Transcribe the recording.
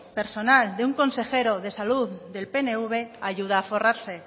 personal de un consejero de salud del pnv ayuda a forrarse